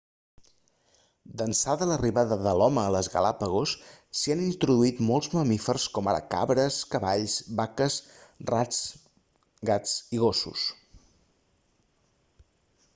d'ençà de l'arribada de l'home a les galápagos s'hi han introduït molts mamífers com ara cabres cavalls vaques rats gats i gossos